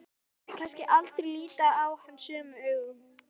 Myndi kannski aldrei líta hann sömu augum.